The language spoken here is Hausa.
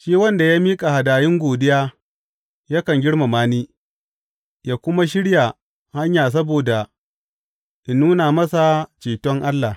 Shi wanda ya miƙa hadayun godiya yakan girmama ni, ya kuma shirya hanya saboda in nuna masa ceton Allah.